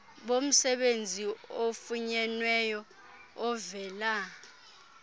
bomsebenzi ofunyenweyo ovela